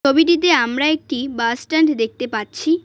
ছবিটিতে আমরা একটি বাস স্ট্যান্ড দেখতে পাচ্ছি।